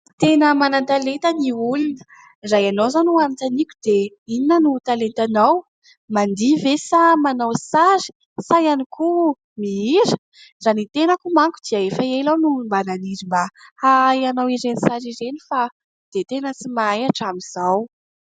Tena manan-talenta ny olona. Raha ianao izao no hanontaniako dia inona no talentanao mandihy ve sa manao sary sa ihany koa mihira? Raha ny tenako manko dia efa ela aho no mba naniry mba hahay anao ireny sary ireny fa dia tena tsy mahay hatramin'izao.